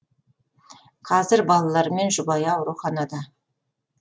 қазір балалары мен жұбайы ауруханада